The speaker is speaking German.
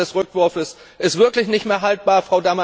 Die Praxis des Rückwurfes ist wirklich nicht mehr haltbar.